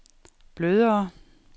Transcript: blødere